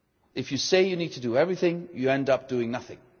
If you say you need to do everything you end up doing nothing.